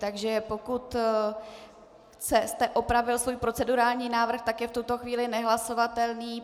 Takže pokud jste opravil svůj procedurální návrh, tak je v tuto chvíli nehlasovatelný.